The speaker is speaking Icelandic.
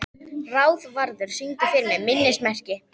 Ráðvarður, syngdu fyrir mig „Minnismerki“.